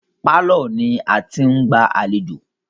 Pálọ̀ ni a ti ń gba àlejò.